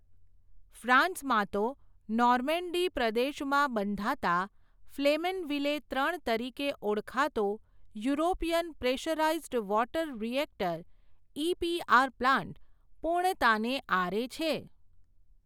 ફ્રાંસમાં તો, નોર્મેન્ડી પ્રદેશમાં બંધાતા, ફલેમનવિલે ત્રણ તરીકે, ઓળખાતો, European pressurised water reactor, EPR plant, પૂર્ણતાને આરે છે.